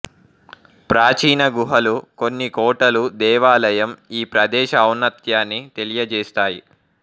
ప్రాచీన గుహలు కొన్ని కోటలు దేవాలయం ఈ ప్రదేశ ఔన్నత్యాన్ని తెలియజేస్తాయి